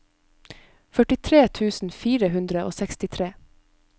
førtitre tusen fire hundre og sekstitre